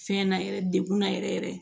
Fɛn na yɛrɛ dekun na yɛrɛ yɛrɛ